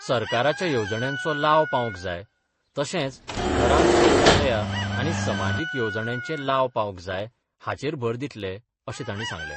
सरकाराच्या येवजण्यांचो लाव पावंक जाय तशेंच घरांत शौचालयां आनी समाजीक येवजण्यांचे लाव पावंक जाय हाचेर भर दितले अशें तांणी सांगलें.